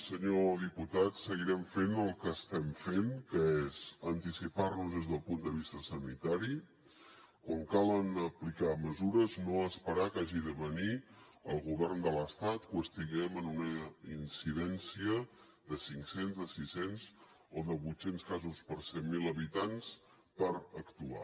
senyor diputat seguirem fent el que estem fent que és anticipar nos des del punt de vista sanitari quan calen aplicar mesures no esperar a que hagi de venir el govern de l’estat o que estiguem en una incidència de cinc cents de sis cents o de vuit cents casos per cent mil habitants per actuar